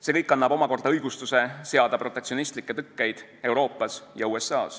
See kõik annab omakorda õigustuse protektsionistlike tõkete seadmisele Euroopas ja USA-s.